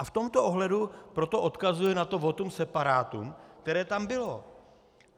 A v tomto ohledu proto odkazuji na to votum separatum, které tam bylo.